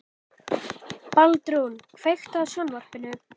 Baldrún, kveiktu á sjónvarpinu.